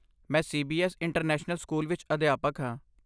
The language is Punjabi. ਮੈਂ ਸੀ.ਬੀ.ਐਸ. ਇੰਟਰਨੈਸ਼ਨਲ ਸਕੂਲ ਵਿੱਚ ਅਧਿਆਪਕ ਹਾਂ।